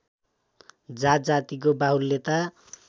जात जातिको बाहुल्यता